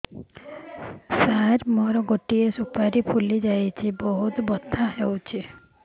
ସାର ମୋର ଗୋଟେ ସୁପାରୀ ଫୁଲିଯାଇଛି ବହୁତ ବଥା ହଉଛି